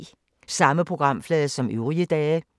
Samme programflade som øvrige dage